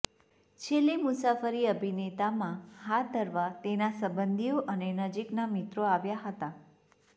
છેલ્લી મુસાફરી અભિનેતામાં હાથ ધરવા તેના સંબંધીઓ અને નજીકના મિત્રો આવ્યા હતા